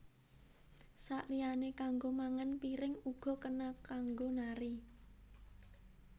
Saliyané kanggo mangan piring uga kena kanggo nari